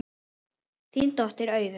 Þín dóttir Auður.